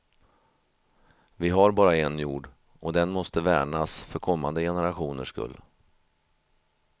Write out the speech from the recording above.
Vi har bara en jord och den måste värnas för kommande generationers skull.